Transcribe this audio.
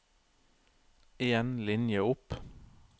En linje opp